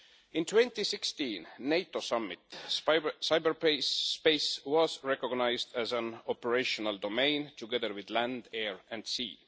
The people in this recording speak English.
In 2016, at the NATO Summit cyberspace was recognised as an operational domain, together with land, air and sea.